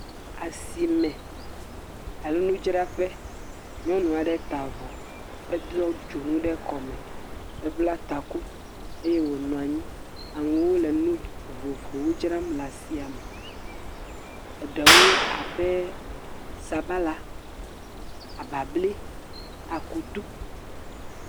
Asime alo nudzraƒe, nyɔnu aɖe ta avɔ, ado dzonu ɖe kɔ me. Ebla taku eye wo nɔ anyi. Wole nu vovovowo dzram le asiame, eɖewo abe sabala, ababli, akutu